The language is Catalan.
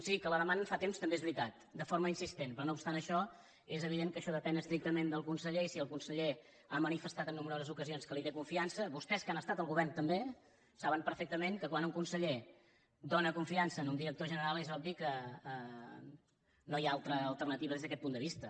sí que la demanen fa temps també és veritat de forma insistent però no obstant això és evident que això depèn estrictament del conseller i si el conseller ha manifestat en nombroses ocasions que li té confiança vostès que han estat al govern també saben perfectament que quan un conseller dóna confiança a un director general és obvi que no hi ha altra alternativa des d’aquest punt de vista